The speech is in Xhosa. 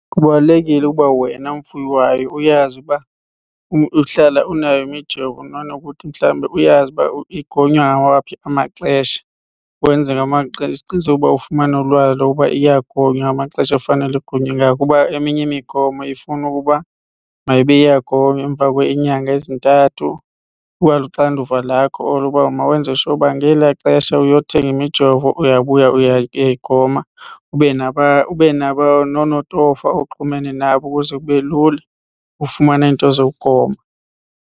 Kubalulekile ukuba wena mfuyi wayo uyazi uba uhlala unayo imijovo makunokuthi mhlawumbe uyazi uba igonywa ngawaphi amaxesha. Wenze ngamaxesha uqiniseke ukuba ufumana ulwazi lokuba iyagonywa ngamaxesha ekufanele igonywe ngalo kuba eminye imigomo ifuna ukuba mayibe iyagonywa emva kweenyanga ezintathu. Iba luxanduva lakho olo ukuba mawenze sure uba ngelaa xesha uyothenga imijovo uyabuya uyayigoma. Ube nabo nonotofa oxhumene nabo ukuze kube lula ufumana into zokugoma.